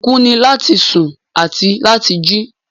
Ìbùkún ni lati sùn àti lati jì